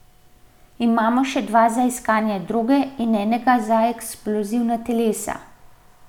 Imamo še dva za iskanje droge in enega za eksplozivna telesa.